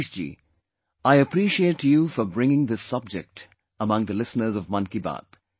Manishji, I appreciate you for bringing this subject among the listeners of Mann Ki Baat